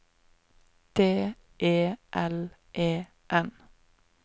D E L E N